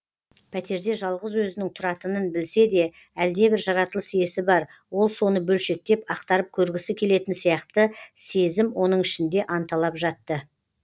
пәтерде жалғыз өзінің тұратынын білсе де әлдебір жаратылыс иесі бар ол соны бөлшектеп ақтарып көргісі келетін сияқты сезім оның ішінде анталап жатты